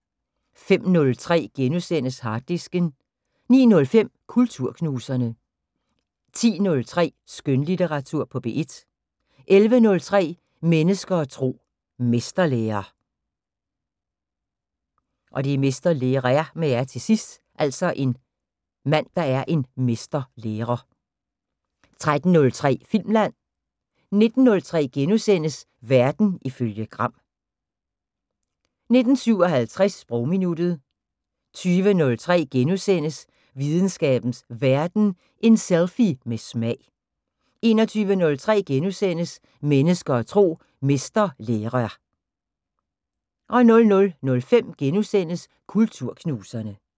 05:03: Harddisken * 09:05: Kulturknuserne 10:03: Skønlitteratur på P1 11:03: Mennesker og tro: Mesterlærer 13:03: Filmland 19:03: Verden ifølge Gram * 19:57: Sprogminuttet 20:03: Videnskabens Verden: En selfie med smag * 21:03: Mennesker og tro: Mesterlærer * 00:05: Kulturknuserne *